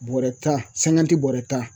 Bɔɔrɛ tan bɔɔrɛ tan.